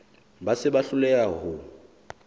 ba se ba hloleha ho